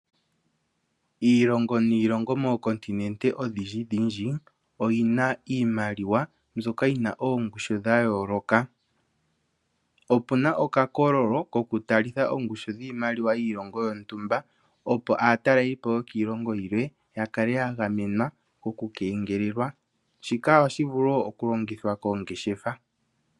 Iilongo niilongo mookontinente odhindjidhindji, oyi na iimaliwa mbyoka yi na yongushu dha yooloka. Opu na okakololo koku talitha oongushu dhiimaliwa yiilongo yontumba opo aatalelipo yokiilongo yilwe ya kale ya gamenwa oku kengelelwa. Shika ohashi vulu wo oku longithwa koongeshefa.